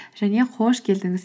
және қош келдіңіз